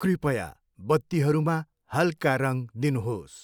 कृपया बत्तीहरूमा हल्का रङ दिनुहोस्।